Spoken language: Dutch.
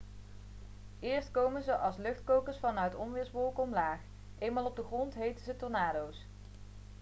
eerst komen ze als luchtkokers vanuit onweerswolken omlaag eenmaal op de grond heten ze tornado's'